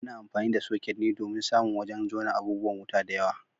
Ana amfani da soket ne domin samun wajen jona abubuwan wuta da yawa.